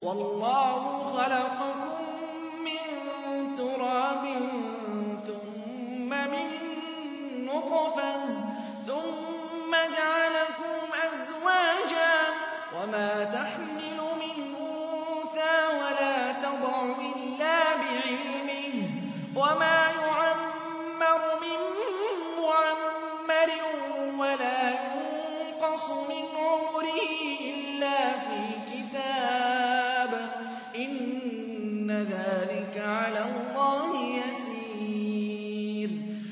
وَاللَّهُ خَلَقَكُم مِّن تُرَابٍ ثُمَّ مِن نُّطْفَةٍ ثُمَّ جَعَلَكُمْ أَزْوَاجًا ۚ وَمَا تَحْمِلُ مِنْ أُنثَىٰ وَلَا تَضَعُ إِلَّا بِعِلْمِهِ ۚ وَمَا يُعَمَّرُ مِن مُّعَمَّرٍ وَلَا يُنقَصُ مِنْ عُمُرِهِ إِلَّا فِي كِتَابٍ ۚ إِنَّ ذَٰلِكَ عَلَى اللَّهِ يَسِيرٌ